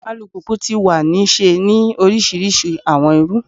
Alupupu ti wa ni ṣe ni orisirisi awọn iru